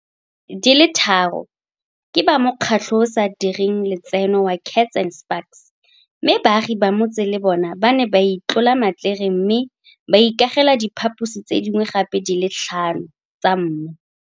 di le tharo ke ba mokgatlo o o sa direng le tseno wa Kats and Spaks, mme baagi ba motse le bona ba ne ba itlola matlere mme ba ikagela diphaposi tse dingwe gape di le tlhano tsa mmu.